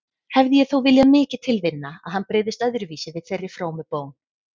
Hefði ég þó viljað mikið til vinna að hann brygðist öðruvísi við þeirri frómu bón.